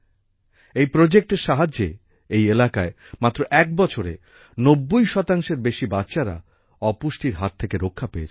এই প্রজেক্টের সাহায্যে এই এলাকায় মাত্র এক বছরে ৯০ শতাংশের বেশি বাচ্চারা অপুষ্টির হাত থেকে রক্ষা পেয়েছে